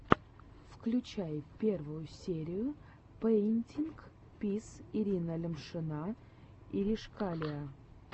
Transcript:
включай первую серию пэинтинг виз ирина лямшина иришкалиа